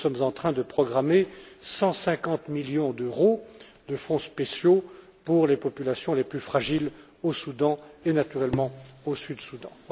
Nous sommes en train de programmer 150 millions d'euros de fonds spéciaux pour les populations les plus fragiles au Soudan et naturellement au Sud Soudan.